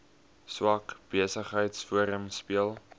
swart besigheidsforum speel